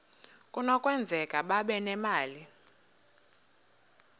kunokwenzeka babe nemali